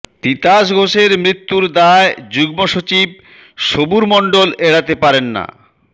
তিতাস ঘোষের মৃত্যুর দায় যুগ্মসচিব সবুর মন্ডল এড়াতে পারেন না